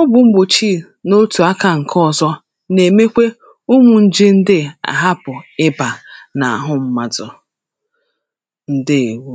ọgwụ̀ mgbòchi n’otù aka ǹkè ọ̀zọ nà-èmekwe umū ǹje ndịa àhapụ̀ ịbà n’àhụ mmadụ̀ ǹdewo